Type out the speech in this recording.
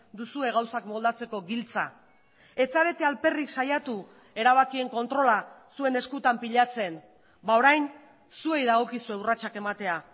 duzue gauzak moldatzeko giltza ez zarete alperrik saiatu erabakien kontrola zuen eskutan pilatzen orain zuei dagokizue urratsak ematea